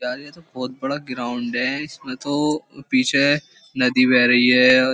यार ये तो बहुत बड़ा ग्राउंड है इसमें तो पीछे नदी बह रही है औ --